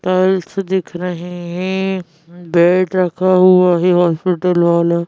Tiles दिख रहें हैं बेड रखा हुआ है हॉस्पिटल वाला।